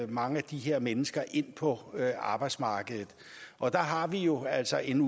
mange af de her mennesker ind på arbejdsmarkedet og der har vi jo altså en